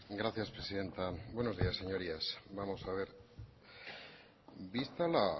gracias presidenta buenos días señorías vamos a ver vista